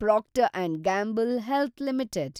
proctor and Gamble Health limited